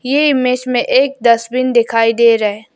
यह इमेज में एक डस्टबिन दिखाई दे रहा है।